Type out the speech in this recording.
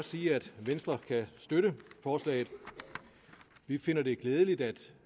sige at venstre kan støtte forslaget vi finder det glædeligt at